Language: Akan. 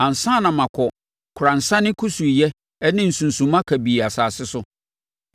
ansa na makɔ koransane kusuuyɛ ne sunsumma kabii asase so,